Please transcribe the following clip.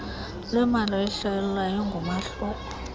lwemali oluhlawulwayo ngumahluko